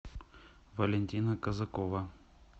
валентина казакова